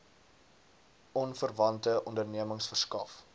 onverwante ondernemings verskaf